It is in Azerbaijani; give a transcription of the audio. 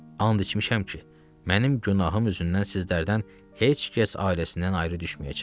And içmişəm ki, mənim günahım üzündən sizlərdən heç kəs ailəsindən ayrı düşməyəcək.